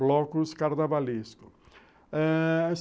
blocos carnavalescos ãh...